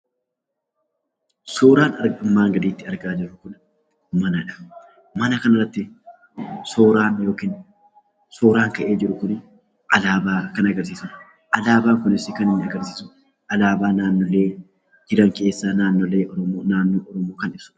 Suuraan armaan gaditti argaa jirruvmanadha. Mana kana irratti suuraan ka'ee jiru Kun alaabaa kan agarsiisudha. Alaabaan kunis kan inni agarsiisu alaabaa naannolee jiran keessaa naannoo Oromiyaa kan ibsu.